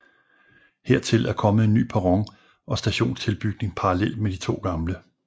Hertil er kommet en ny perron og stationstilbygning parallelt med de to gamle